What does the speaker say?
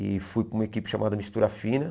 E fui para uma equipe chamada Mistura Fina.